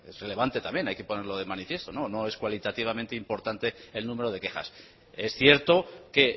también hay que ponerlo de manifiesto no es cualitativamente importante el número de quejas es cierto que